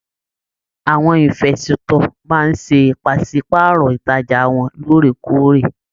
Àwọn ìnfestọ̀ máa n se pàsepàárọ̀ ìtajà wọn lóòrèkóòrè.